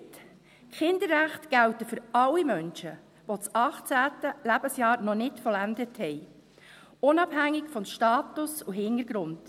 Die Kinderrechte gelten für alle Menschen, die das 18. Lebensjahr noch nicht vollendet haben, unabhängig vom Status und Hintergrund.